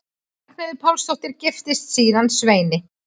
Ragnheiður Pálsdóttir giftist síðan Sveini